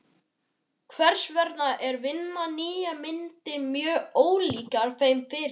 Kveðst vera að vinna nýjar myndir mjög ólíkar þeim fyrri.